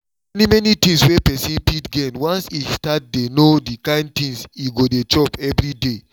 many many things wey person fit gain once e start dey know the kind things e go dey chop every day